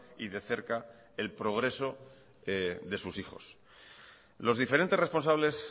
y de cerca el progreso de sus hijos los diferentes responsables